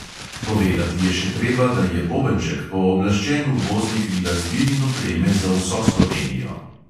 Povedati je še treba, da je bobenček pooblaščen uvoznik glasbil in opreme za vso slovenijo.